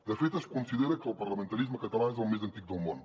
de fet es considera que el parlamentarisme català és el més antic del món